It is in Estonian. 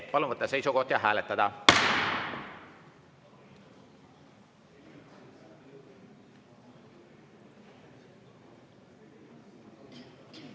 Palun võtta seisukoht ja hääletada!